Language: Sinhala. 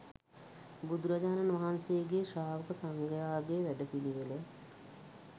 බුදුරජාණන් වහන්සේගේ ශ්‍රාවක සංඝයාගේ වැඩපිළිවෙල